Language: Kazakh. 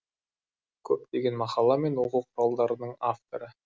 көптеген мақала мен оқу құралдарының авторы